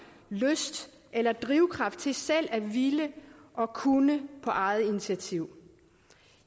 lyst eller drivkraft til selv at ville og kunne på eget initiativ